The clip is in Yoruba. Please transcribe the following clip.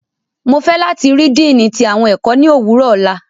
Mo fẹ lati rii Diini ti awọn ẹkọ ni owurọ ọla!